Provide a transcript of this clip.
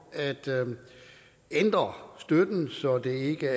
at ændre støtten så den ikke